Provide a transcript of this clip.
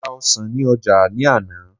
mo ra ọsàn ni oja ni àná